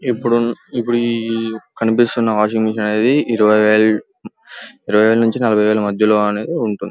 ఇప్పుడు కనిపిస్తున్న washing machine అనేది ఇరవై వేలు నుంచి నలబై వేల మధ్యలో అని ఉంటుంది.